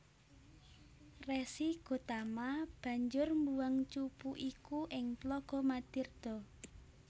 Resi Gotama banjur mbuwang cupu iku ing tlaga Madirda